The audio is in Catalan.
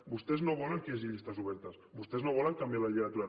vostès no volen que hi hagi llistes obertes vostès no volen canviar la llei electoral